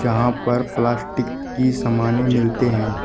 यहां पर प्लास्टिक की सामानें मिलती हैं।